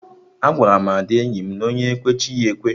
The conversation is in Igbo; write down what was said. Agwaram Ada enyi m nwaanyị na onye kwee, chi ya ekwe